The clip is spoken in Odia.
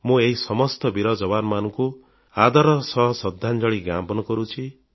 ମୁଁ ଏହି ସମସ୍ତ ବୀର ଯବାନମାନଙ୍କୁ ଆଦର ସହ ଶ୍ରଦ୍ଧାଞ୍ଜଳି ଜ୍ଞାପନ କରୁଛି